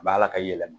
A b'a la ka yɛlɛma